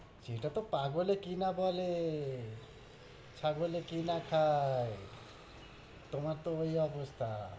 যেটা তহ পাগলে কিনা বলে, ছাগলে কিনা খায়, তুমার তো ওই অবস্থা।